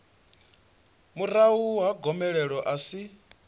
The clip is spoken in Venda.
murahu ha gomelelo a si